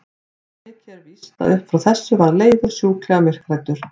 Svo mikið er víst að upp frá þessu varð Leifur sjúklega myrkhræddur.